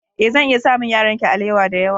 Ee, zan iya samun yaranki alewa da yawa.